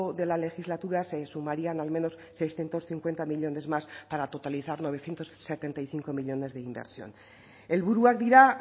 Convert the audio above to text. de la legislatura se sumarían al menos seiscientos cincuenta millónes más para totalizar novecientos setenta y cinco millónes de inversión helburuak dira